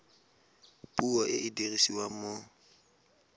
puo e e dirisiwang mo